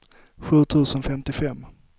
sju tusen femtiofem